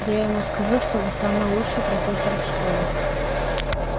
я ему скажу что вы самый лучший профессор в школе